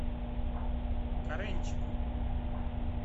каренчику